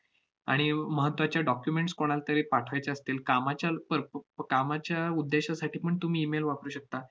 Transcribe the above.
आणि व~ महत्त्वाच्या documents कोणालातरी पाठवायच्या असतील कामाच्या भरप~ प~ कामाच्या उद्देशासाठीपण तुम्ही email वापरू शकता.